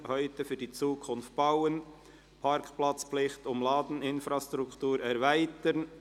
«Heute für die Zukunft bauen: Parkplatzpflicht um Ladeinfrastruktur erweitern».